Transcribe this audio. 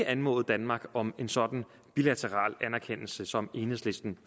anmodet danmark om en sådan bilateral anerkendelse som enhedslisten